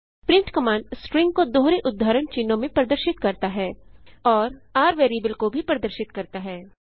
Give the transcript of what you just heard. print command string को दोहरे उद्धरण चिन्हों में प्रदर्शित करता है और r वेरिएबल को भी प्रदर्शित करता है